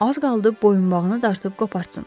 Az qaldı boyunbağını dartıb qopartsın.